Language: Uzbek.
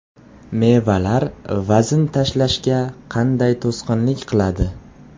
Mevalar vazn tashlashga qanday to‘sqinlik qiladi?.